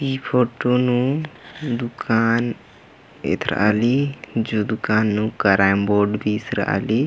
ई फुटून दुकान एथराअली जो दुकान नु कैरम बोर्ड बी ईसराली---